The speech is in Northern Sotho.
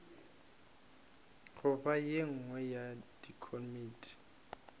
goba ye nngwe ya dikomiti